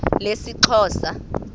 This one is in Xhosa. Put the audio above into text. lesixhosa